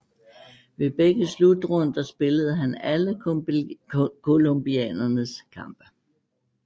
Ved begge slutrunder spillede han alle colombianernes kampe